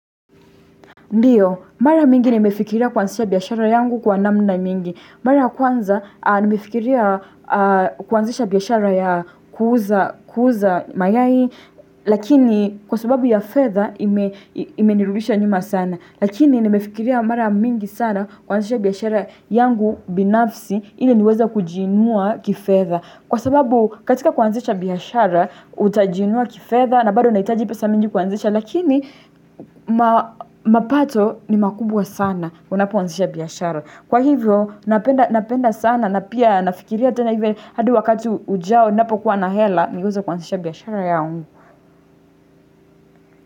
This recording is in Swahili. Ndiyo, mara mingi nimefikiria kuanzisha biashara yangu kwa namna mingi. Mara kwanza, nimefikiria kuanzisha biashara ya kuuza mayai, lakini kwa sababu ya fedha imenirudisha nyuma sana. Lakini nimefikiria mara mingi sana kuanzisha biashara yangu binafsi ili niweza kujinua kifetha. Kwa sababu katika kuanzisha biashara, utajiinua kifetha, na bado unahitaji pesa mingi kuanzisha lakini mapato ni makubwa sana unapo anzisha biashara. Kwa hivyo napenda sana na pia nafikiria tena hivyo hadi wakati ujao napo kuwa na hela niweze kuanzisha biashara yangu.